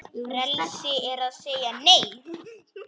Frelsi er að segja Nei!